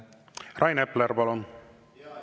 Rain Epler, palun!